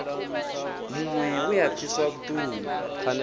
muṅwe we a pfiswa vhuṱungu